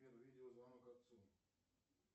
сбер видеозвонок отцу